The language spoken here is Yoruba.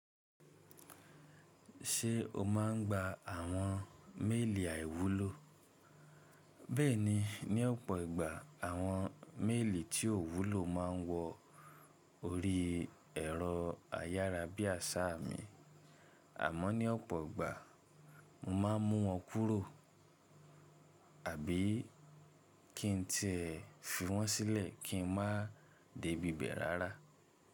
Ṣé o máa ń gba àwọn méèlì àìwúlò? Bẹ́ẹ̀ni, ní ọ̀pọ̀ ìgbà àwọn méèlì tí ò wúlò máa wọ orí ẹ̀rọ ayárabíàṣá mi, àmọ́ ní ọ̀pọ̀ ìgbà mo máa mú wọn kúrò àbí kí n ti ẹ fi wọ́n sílẹ̀ kí n má a dé ibẹ̀ rárá.